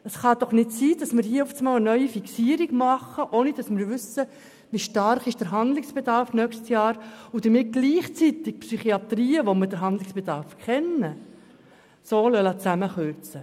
Es ist doch nicht angebracht, hier eine neue Fixierung vorzunehmen, ohne zu wissen, wie im nächsten Jahr der Handlungsbedarf aussehen wird, und dann gleichzeitig bei den Psychiatrien, wo wir den Handlungsbedarf kennen, so stark zu kürzen.